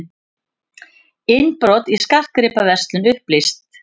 Innbrot í skartgripaverslun upplýst